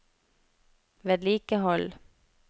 vedlikehold